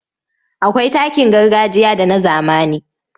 Akwai takin gargajiya da na zamani.